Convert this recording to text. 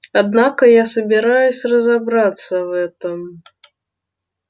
однако я собираюсь разобраться в этом